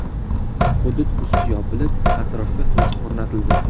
Hudud usti yopilib, atrofga to‘siq o‘rnatildi.